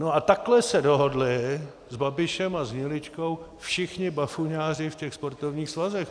No, a takhle se dohodli s Babišem a s Hniličkou všichni bafuňáři v těch sportovních svazech.